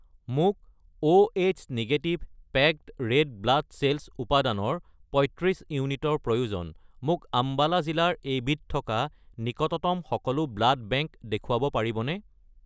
মোক Oh negative packed red blood cells উপাদানৰ 35 ইউনিটৰ প্ৰয়োজন, মোক আম্বালা জিলাৰ এইবিধ থকা নিকটতম সকলো ব্লাড বেংক দেখুৱাব পাৰিবনে?